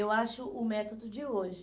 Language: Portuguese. Eu acho o método de hoje.